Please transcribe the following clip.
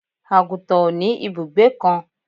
àgùntàn ò ní ìbùgbé kan